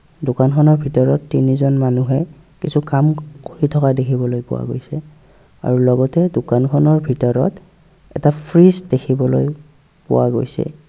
দোকান খনৰ ভিতৰত তিনিজন মানুহে কিছু কাম কৰি থকা দেখিবলৈ পোৱা গৈছে আৰু লগতে দোকান খনৰ ভিতৰত এটা ফ্ৰিজ দেখিবলৈ পোৱা গৈছে.